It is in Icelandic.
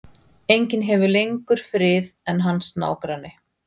Enginn hefur lengur frið en hans nágranni.